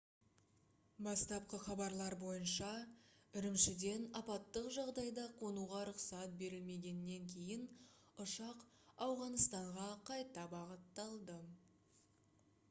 бастапқы хабарлар бойынша үрімшіден апаттық жағдайда қонуға рұқсат берілмегеннен кейін ұшақ ауғаныстанға қайта бағытталды